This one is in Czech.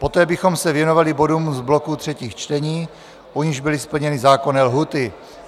Poté bychom se věnovali bodům z bloku třetích čtení, u nichž byly splněny zákonné lhůty.